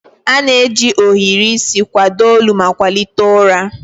A na-eji ohiri isi kwado olu ma kwalite ụra.